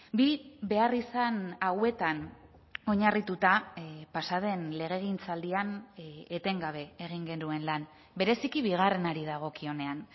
bi beharrizan hauetan oinarrituta pasa den legegintzaldian etengabe egin genuen lan bereziki bigarrenari dagokionean